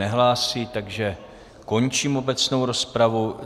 Nehlásí, takže končím obecnou rozpravu.